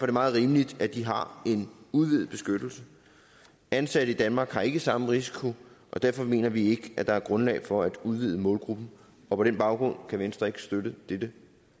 det meget rimeligt at de har en udvidet beskyttelse ansatte i danmark har ikke samme risiko og derfor mener vi ikke at der er grundlag for at udvide målgruppen og på den baggrund kan venstre ikke støtte dette